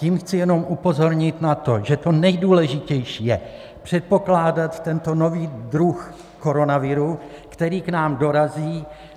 Tím chci jenom upozornit na to, že to nejdůležitější je předpokládat tento nový druh koronaviru, který k nám dorazí.